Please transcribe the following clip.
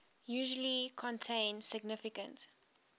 usually contain significant